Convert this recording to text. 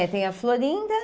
É, tem a Florinda.